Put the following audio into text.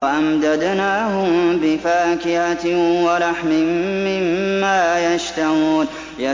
وَأَمْدَدْنَاهُم بِفَاكِهَةٍ وَلَحْمٍ مِّمَّا يَشْتَهُونَ